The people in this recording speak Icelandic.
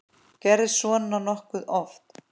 Gerist svona nokkuð oft?